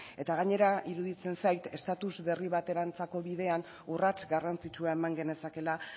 gainera iruditzen zait estatus berri baterantzako bidean urrats garrantzitsua eman genezakeela